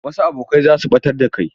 Wasu abokai za su ɓatar da kai.